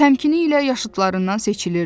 Təmkinliyi ilə yaşıdlarından seçilirdi.